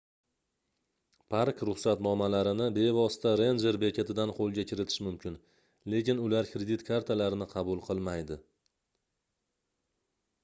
park-ruxsatnomalarini bevosita renjer bekatidan qoʻlga kiritish mumkin lekin ular kredit kartalarni qabul qilmaydi